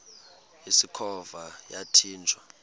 usikhova yathinjw a